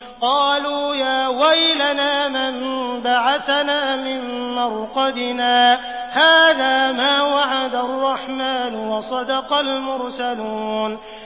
قَالُوا يَا وَيْلَنَا مَن بَعَثَنَا مِن مَّرْقَدِنَا ۜۗ هَٰذَا مَا وَعَدَ الرَّحْمَٰنُ وَصَدَقَ الْمُرْسَلُونَ